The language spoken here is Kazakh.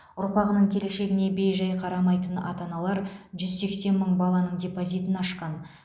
ұрпағының келешегіне бей жай қарамайтын ата аналар жүз сексен мың баланың депозитін ашқан